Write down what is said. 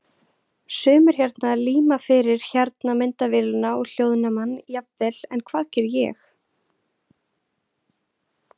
Sumir hérna líma fyrir hérna myndavélina og hljóðnemann jafnvel en hvað geri ég?